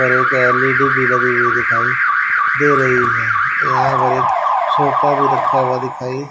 और एक एल_इ_डी भी लगी हुई दिखाई दे रही है यहां पर एक सोफा भी रखा हुआ दिखाई--